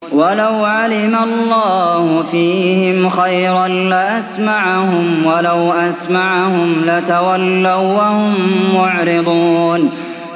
وَلَوْ عَلِمَ اللَّهُ فِيهِمْ خَيْرًا لَّأَسْمَعَهُمْ ۖ وَلَوْ أَسْمَعَهُمْ لَتَوَلَّوا وَّهُم مُّعْرِضُونَ